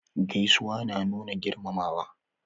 Gaisuwa na nuna girmamawa.